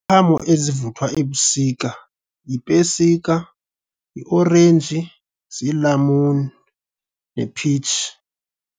Iziqhamo ezivuthwa ebusika yipesika, yiorenji, ziilamuni ne-peach.